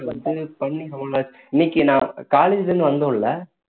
இது பண்ணி ரொம்ப நாளாச்சு இன்னைக்கு நான் college ல இருந்து வந்தோம் இல்ல